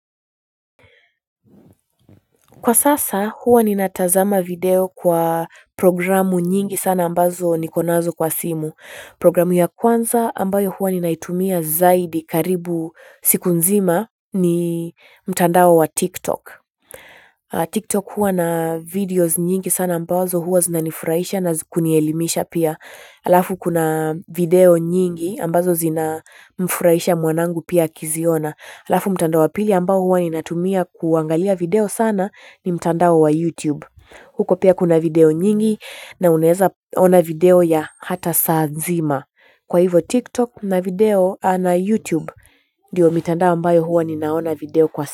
Kwa sasa huwa ninatazama video kwa programu nyingi sana ambazo niko nazo kwa simu. Programu ya kwanza ambayo huwa ninaitumia zaidi karibu siku nzima ni mtandao wa tiktok. TikTok huwa na videos nyingi sana ambazo huwa zinanifurahisha na kunielimisha pia. Alafu kuna video nyingi ambazo zinamfurahisha mwanangu pia akiziona. Alafu mtandao wa pili ambao huwa ninatumia kuangalia video sana ni mtandao wa YouTube. Huko pia kuna video nyingi na unaeza ona video ya hata saa nzima kwa hivo TikTok na video na YouTube ndio mitandao ambyo huwa naona video kwa.